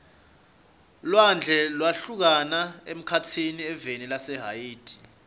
lwandle lwahlukana emkhatsini eveni lase haiti